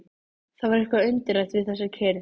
Það var eitthvað undarlegt við þessa kyrrð.